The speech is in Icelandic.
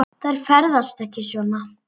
Þær ferðast ekki svona.